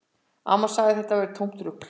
Amma sagði að þetta væri tómt rugl